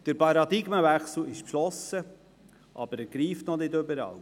Der Paradigmenwechsel wurde beschlossen, aber er greift noch nicht überall.